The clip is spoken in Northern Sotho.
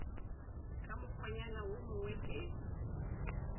ka mokgwanyana wo mongwe ke